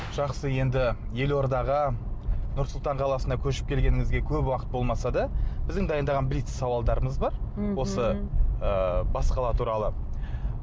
жақсы енді елордаға нұр сұлтан қаласына көшіп келгеніңізге көп уақыт болмаса да біздің дайындаған блиц сауалдарымыз бар осы ы бас қала туралы